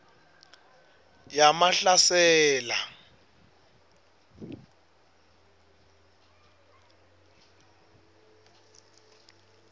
yamahlasela